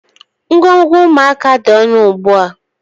Ngwongwo ụmụaka dị ọnụ ugbu a.